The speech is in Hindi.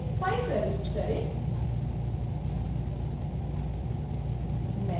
current checkouts allowed field में 5 प्रविष्ट करें